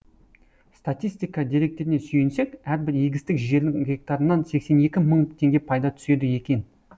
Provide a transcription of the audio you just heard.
статистика деректеріне сүйенсек әрбір егістік жердің гектарынан сексен екі мың теңге пайда түседі екен